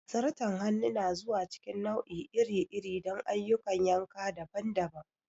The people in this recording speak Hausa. Zarton hannu na zuwa cikin nau'i iri-iri don ayyukan yanka daban-daban.